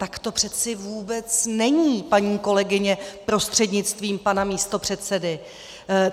Tak to přece vůbec není, paní kolegyně prostřednictvím pana místopředsedy!